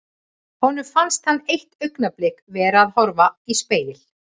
Honum fannst hann eitt augnablik vera að horfa í spegil.